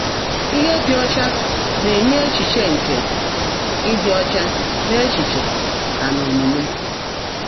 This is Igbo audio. Íhe ḍị́ ọ́chá ná-ènyé é́chíché nkè ị́dị́ ọ́chá n’é́chíché nà n’ómuumé.